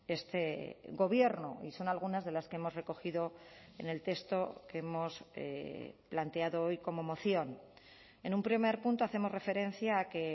este gobierno y son algunas de las que hemos recogido en el texto que hemos planteado hoy como moción en un primer punto hacemos referencia a que